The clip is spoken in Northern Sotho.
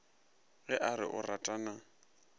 ge a re o ratana